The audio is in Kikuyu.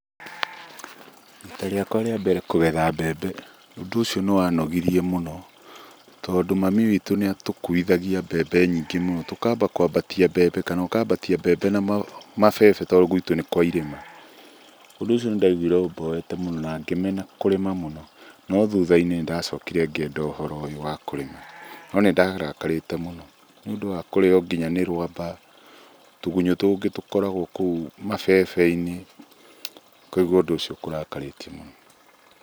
Rita riakwa rĩa mbere kũgetha mbembe, ũndũ ũcio nĩwanogirie mũno, tondũ mami wĩtũ nĩatũkuithagia mbembe nyingĩ mũno, tũkamba kwambatia mbembe kana ũkambatia mbembe na mabebe, tondũ gwĩtũ nĩ kwairĩma. Ũndũ ũcio nĩndaiguire ũmboete mũno na ngĩmena kũrĩma mũno, no thutha-inĩ nĩndacokire ngĩenda ũhoro ũyũ wa kũrĩma, no nĩndarakarĩte mũno nĩũndũ wa nginya kũrĩo nĩ rwamba, tũgunyũ tũngĩ tũkoragwo kũu mabebe-inĩ, ũkaigua ũndũ ũcio ũkũrakarĩtie mũno.